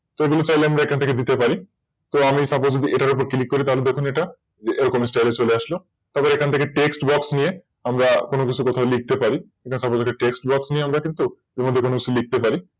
এগুলো চাইলে আমরা এখান থেকে দিতে পারি তো আমি Suppose এটার উপর Click করে তাহলে দেখুন এটা এরকম Style চলে আসলো তারপরে এখান থেকে TextBox নিয়ে আমরা কোন কিছু কথা লিখতে পারি। যেমন Suppose আমরা কিন্তু এর মধ্যেকোন কিছু লিখতে পারি